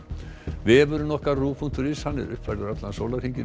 vefurinn ruv punktur is er uppfærður allan sólarhringinn